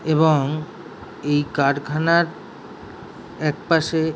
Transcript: এবং এই কারখানার এক পাশে।